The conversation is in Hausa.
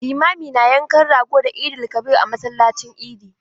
Limami na yankan rago da Eid-el-kabir a masallacin idi.